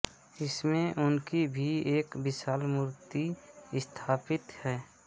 इसमें उनकी भि एक विशाल मूर्ति स्थापित है